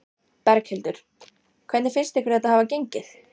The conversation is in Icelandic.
Berghildur: Hvernig finnst ykkur þetta hafa gengið?